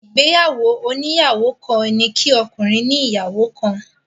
Ìgbéyàwó oníyàwó kan ni kí ọkùnrin ní ìyàwó kan.